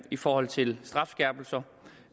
i forhold til strafskærpelser